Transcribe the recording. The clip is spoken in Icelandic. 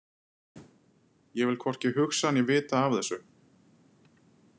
Ég vil hvorki hugsa né vita af þessu.